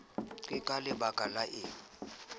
ke ka lebaka la eng